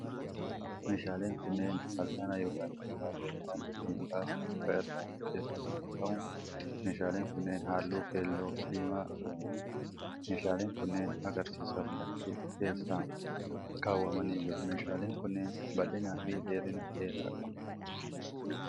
Meeshaaleen kunneen, fal'aana yookiin meeshaalee nyaata ittiin baasan muka irraa hojjataman yoo ta'u, meeshaaleen kunneen haalluu keelloo diimaa dibamaniiru. Meeshaaleen kunnneen, agarsiisaaf bakkee keessa kaawwamanii jiru. Meeshaaleen kunneen, bal'ina fi dheerina dheeraa qabu.